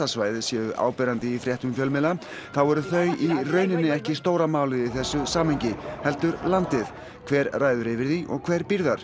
svæðið séu áberandi í fréttum fjölmiðla þá eru þau í rauninni ekki stóra málið í þessu samhengi heldur landið hver ræður yfir því og hver býr þar